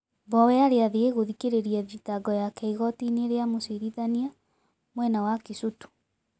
Mbowe aari athie guthikiriria thitango yako igotiini ria mucirithania mwena wa Kisutu.